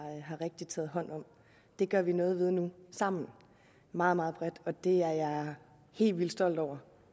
taget hånd om det gør vi noget ved nu sammen meget meget bredt det er jeg helt vildt stolt over